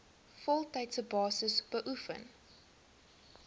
voltydse basis beoefen